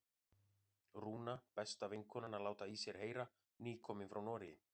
Rúna, besta vinkonan, að láta í sér heyra, nýkomin frá Noregi!